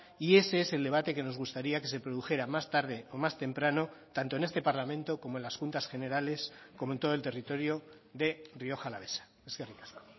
y ese es el debate que nos gustaría que se produjera más tarde o más temprano tanto en este parlamento como en las juntas generales como en todo el territorio de rioja alavesa eskerrik asko